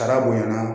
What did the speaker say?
Taara bonya